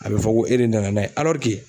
A bɛ fɔ ko e de nana n'a ye